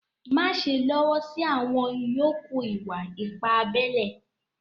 Máṣè lọ́wọ́ sí àwọn ìyọ̀kù ìwà-ìpà àbèlè.